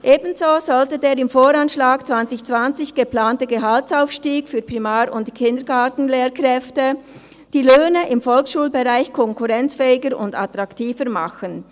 Ebenso sollte der im Voranschlag 2020 geplante Gehaltsaufstieg für Primar- und Kindergartenlehrkräfte die Löhne im Volksschulbereich konkurrenzfähiger und attraktiver machen.